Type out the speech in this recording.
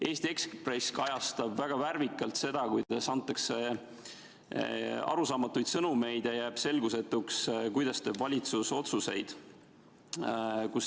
Eesti Ekspress kajastab väga värvikalt seda, kuidas antakse arusaamatuid sõnumeid ja jääb selgusetuks, kuidas valitsus otsuseid teeb.